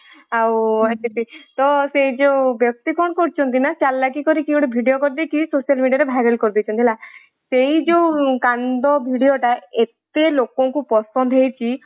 ଆଉ ଏତିକି ତ ସେଇ ଯୋଉ ବ୍ୟକ୍ତି କ'ଣ କରିଛନ୍ତି ନା ଚାଲକି କରିକି ଗୋଟେ video କରିଦେଇକି social media ରେviral କରିଦେଇଛନ୍ତି ହେଲା। ସେ ଯୋଉ କାନ୍ଦ viral ଏତେ ଲୋକଙ୍କୁ ପସନ୍ଦ ହେଇଛି